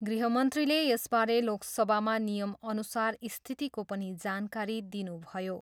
गृहमन्त्रीले यसबारे लोकसभामा नियमअनुसार स्थितिको पनि जानकारी दिनुभयो।